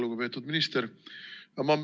Lugupeetud minister!